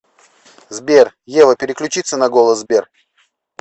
сбер ева переключится на голос сбер